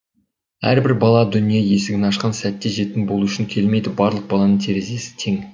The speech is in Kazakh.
әрбір бала дүние есігін ашқан сәтте жетім болу үшін келмейді барлық баланың терезесі тең